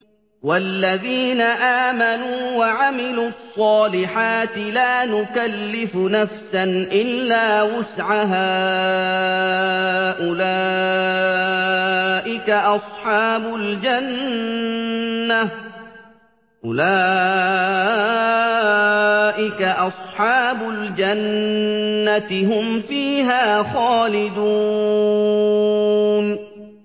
وَالَّذِينَ آمَنُوا وَعَمِلُوا الصَّالِحَاتِ لَا نُكَلِّفُ نَفْسًا إِلَّا وُسْعَهَا أُولَٰئِكَ أَصْحَابُ الْجَنَّةِ ۖ هُمْ فِيهَا خَالِدُونَ